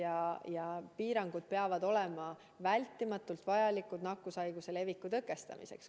Kõik piirangud peavad olema vältimatult vajalikud nakkushaiguse leviku tõkestamiseks.